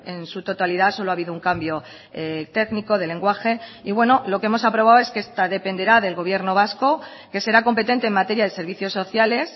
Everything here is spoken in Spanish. en su totalidad solo ha habido un cambio técnico de lenguaje y bueno lo que hemos aprobado es que esta dependerá del gobierno vasco que será competente en materia de servicios sociales